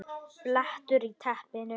BLETTUR Í TEPPINU